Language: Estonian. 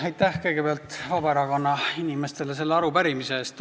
Aitäh kõigepealt Vabaerakonna inimestele selle arupärimise eest!